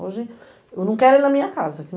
Hoje... Eu não quero ele na minha casa.